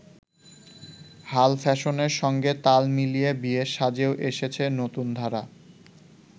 হাল ফ্যাশনের সঙ্গে তাল মিলিয়ে বিয়ের সাজেও এসেছে নতুনধারা।